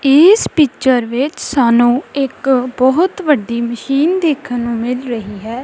ਇਸ ਪਿਚਰ ਵਿੱਚ ਸਾਨੂੰ ਇੱਕ ਬਹੁਤ ਵੱਡੀ ਮਸ਼ੀਨ ਦੇਖਣ ਨੂੰ ਮਿਲ ਰਹੀ ਹੈ।